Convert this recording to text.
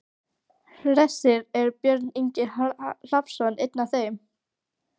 Hersir: Er Björn Ingi Hrafnsson einn af þeim?